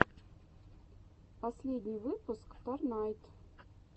последний выпуск торнайд